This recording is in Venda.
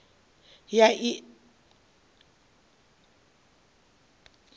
ya a i na ii